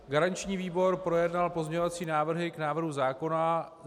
Garanční výbor projednal pozměňovací návrhy k návrhu zákona.